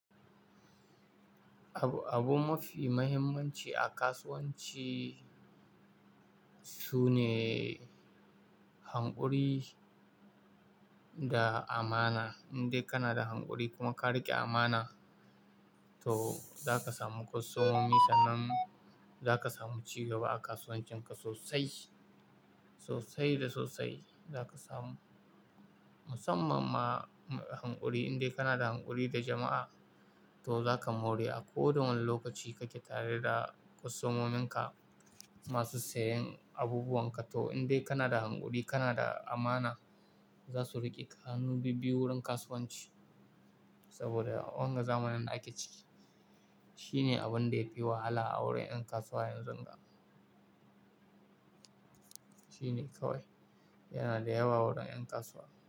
Abu mafi mahimmanci a kasuwanci sune hanƙuri da amana. Indai kana da hanƙuri kuma ka riƙe amana, to za ka samu kwastomomi sannan za ka samu ci gaba a kasuwancinka sosai, sosai da sosai za ka samu. Musamman ma hanƙuri, indai kana da hanƙuri da jama'a to za ka more a kowace wani lokaci kake tare da kwastomominka masu sayen abubuwan ka. To indai kana da hanƙuri, kana da amana, za su riƙe ka hannu bibbiyu wurin kasuwanci saboda wanga zamanin ga d a ake ciki. Shine abun da ya fi wahala a wurin 'yan kasuwa yanzu ga. Shine kawai yana da yawa wurin 'yan kasuwa.